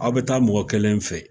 Aw bi taa mɔgɔ kelen fɛ yen